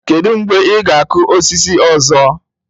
Kedu mgbe ị ga-akụ osisi ọzọ?